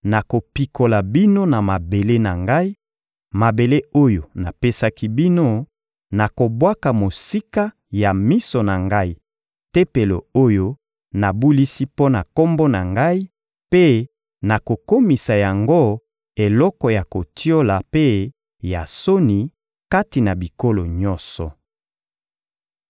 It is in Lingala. nakopikola bino na mabele na Ngai, mabele oyo napesaki bino; nakobwaka mosika ya miso na Ngai Tempelo oyo nabulisi mpo na Kombo na Ngai mpe nakokomisa yango eloko ya kotiola mpe ya soni kati na bikolo nyonso.